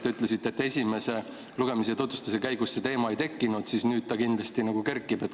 Te ütlesite, et esimese lugemise ja tutvustuse käigus see teema ei kerkinud, aga nüüd ta kindlasti kerkib.